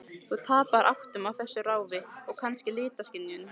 Þú tapar áttum á þessu ráfi, og kannski litaskynjun.